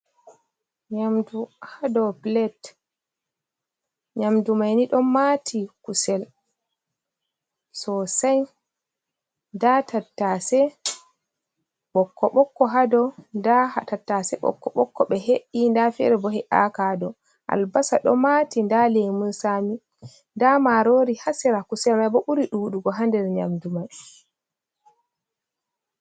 Nyamndu haa dow pilet, nyamndu may ni ɗon maati kusel soosay, nda tattaase ɓokko-ɓokko haa dow, nda tattaase ɓokko-ɓokko ɓe he’i, nda feere bo he`aaka haa dow, albasa ɗon maati, nda leemun saami, nda maaroori haa sera kusel may. bo ɓuri ɗuɗugo haa nder nyamndumay